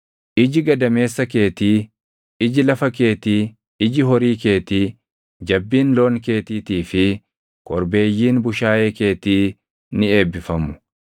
Iji gadameessa keetii, iji lafa keetii, iji horii keetii, jabbiin loon keetiitii fi korbeeyyiin bushaayee keetii ni eebbifamu.